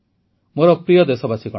ମୋର ପ୍ରିୟ ଦେଶବାସୀଗଣ